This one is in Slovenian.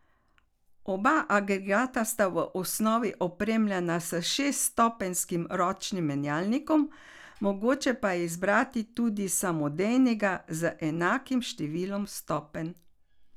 Oba agregata sta v osnovi opremljena s šeststopenjskim ročnim menjalnikom, mogoče pa je izbrati tudi samodejnega z enakim številom stopenj.